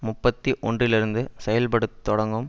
முப்பத்தி ஒன்றுலிருந்து செயல்பட தொடங்கும்